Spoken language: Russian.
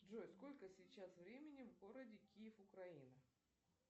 джой сколько сейчас времени в городе киев украина